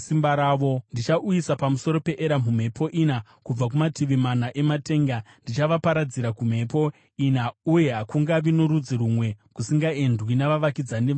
Ndichauyisa pamusoro paEramu mhepo ina, kubva kumativi mana ematenga; ndichavaparadzira kumhepo ina uye hakungavi norudzi rumwe kusingaendwi navavakidzani veEramu.